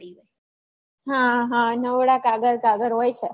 હા હા નવરા કાગળ કાગળ હોય છે